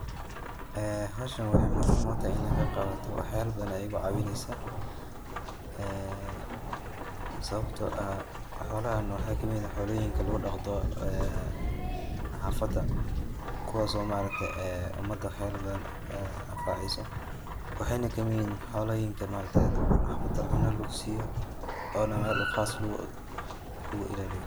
Ee howshan waxay muhiim utahay inan ka qeb qaato waxyaba badan ayay igu caawineysa ee sababto ah xoolahan waxa kamid ah xooloyinka lugu dhaqdo ee xafada kuwaaso ma aragte ee umada wax yaba badan anfaceyso, waxayna kamid yihiin xooloyinka ma aragte xafada cunoyin lugu siyo ona mel qaas lugu illaliyo